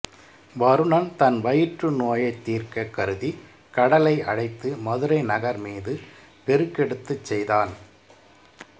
வருணன் தன் வயிற்று நோயைத் தீர்க்கக் கருதி கடலை அழைத்து மதுரை நகர் மீது பெருக்கெடுக்கச் செய்தான்